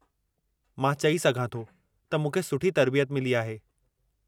मां चई सघां थो त मूंखे सुठी तर्बियत मिली आहे।